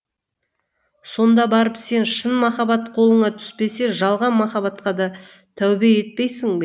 сонда барып сен шын махаббат қолыңа түспесе жалған махаббатқа да тәубе етпейсің бе